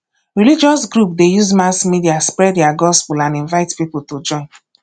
religious group de use mass media spread their gospel and invite pipo to join